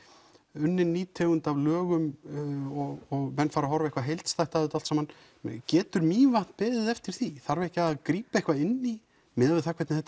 unnin ný tegund af lögum og menn fara að horfa eitthvað heildstætt á þetta allt saman getur Mývatn beðið eftir því þarf ekki að grípa eitthvað inn í miðað við hvernig þetta